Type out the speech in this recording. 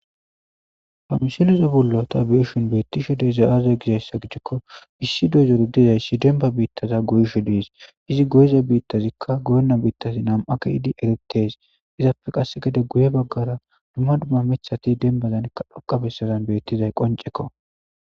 famsileze bullo ta beeshin beettishe deeza aaza gizayssa gidhakko issi doyzor dizayssi denba biittaza goyisho diis izi goyiza biittazikka goyonna biittazi nam7a keidi erites izapfe qasse gede guye baggara dumma dumma micthati denbazankka dhoqabessadan beettizay qoncekko